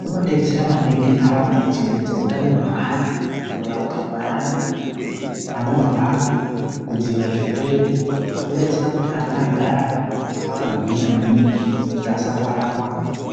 Kunodetsera maningi ntaraunda pakuchengetedza utano hweana, kurapwa kweana anorwara, kudzivirira zvirwere kwodetsera kuti ana agare akagwinya maningi kuti asarwara rwara.